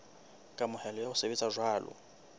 kamohelo ya ho sebetsa jwalo